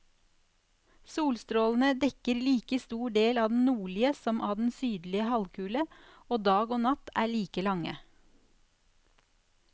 Solstrålene dekker like stor del av den nordlige som av den sydlige halvkule, og dag og natt er like lange.